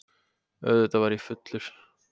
Auðvitað var ég fullur.